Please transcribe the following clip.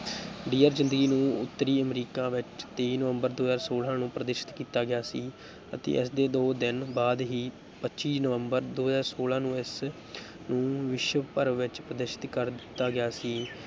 Dear Zindagi ਨੂੰ ਉੱਤਰੀ ਅਮਰੀਕਾ ਵਿੱਚ ਤੇਈ ਨਵੰਬਰ ਦੋ ਹਜ਼ਾਰ ਛੋਲਾਂ ਨੂੰ ਪ੍ਰਦਰਸ਼ਿਤ ਕੀਤਾ ਗਿਆ ਸੀ ਅਤੇ ਇਸ ਦੇ ਦੋ ਦਿਨ ਬਾਅਦ ਹੀ ਪੱਚੀ ਨਵੰਬਰ ਦੋ ਹਜ਼ਾਰ ਛੋਲਾਂ ਨੂੰ ਇਸ ਨੂੰ ਵਿਸ਼ਵਭਰ ਵਿੱਚ ਪ੍ਰਦਰਸ਼ਿਤ ਕਰ ਦਿੱਤਾ ਗਿਆ ਸੀ।